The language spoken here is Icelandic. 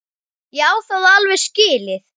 Ég á það alveg skilið.